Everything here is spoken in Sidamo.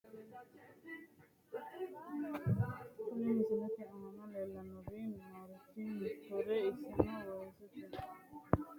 Kuni misilete aana leellanni noorichi murote. iseno weesete murooti hattono haqqe leeltanno giddoseenni badheenni hige xeertote ilaalu leellanno. haanja baseeti.